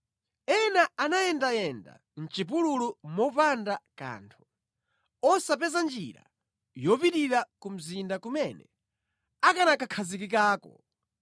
Ena anayendayenda mʼchipululu mopanda kanthu, osapeza njira yopitira ku mzinda kumene akanakakhazikikako.